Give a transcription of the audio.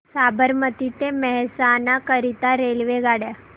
साबरमती ते मेहसाणा करीता रेल्वेगाड्या